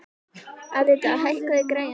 Alida, hækkaðu í græjunum.